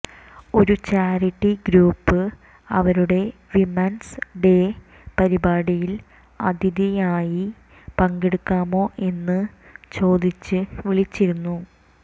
ഒരു charity group അവരുടെ women's day പരിപാടിയിൽ അതിഥിയായി പങ്കെടുക്കാമോ എന്ന് ചോദിച്ച് വിളിച്ചിരുന്നു